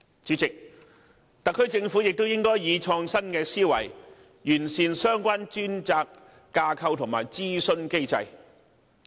主席，特區政府亦應以創新思維，完善相關專責架構及諮詢機制。